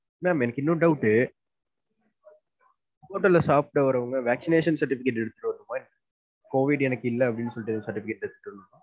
Ma'am எனக்கு இன்னொரு doubt hotel ல சாப்புட வரவுங்க vaccination certificate எடுத்துட்டு வரணுனுமா COVID எனக்கு இல்ல அப்டினு சொல்டு எதும் certificate எடுத்துட்டு வரணுனுமா?